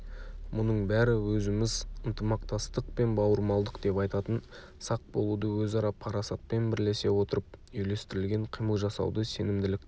мұның бәрі өзіміз ынтымақтастық пен бауырмалдық деп айтатын сақ болуды өзара парасатпен бірлесе отырып үйлестірілген қимыл жасауды сенімділікті